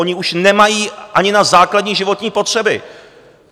Oni už nemají ani na základní životní potřeby!